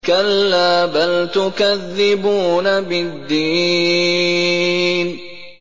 كَلَّا بَلْ تُكَذِّبُونَ بِالدِّينِ